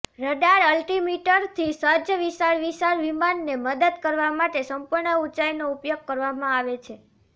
radar અલ્ટીમીટરથી સજ્જ વિશાળ વિશાળ વિમાનને મદદ કરવા માટે સંપૂર્ણ ઊંચાઇનો ઉપયોગ કરવામાં આવે છે